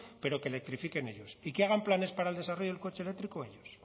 pero que electrifiquen ellos y que hagan planes para el desarrollo del coche eléctrico ellos